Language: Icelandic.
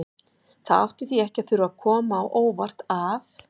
Það átti því ekki að þurfa að koma á óvart að